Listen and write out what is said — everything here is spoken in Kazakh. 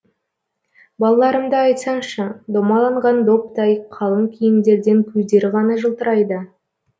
балаларымды айтсаңшы домаланған доптай қалың киімдерден көздері ғана жылтырайды